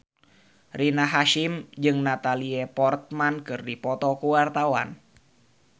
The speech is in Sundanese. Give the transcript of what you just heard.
Rina Hasyim jeung Natalie Portman keur dipoto ku wartawan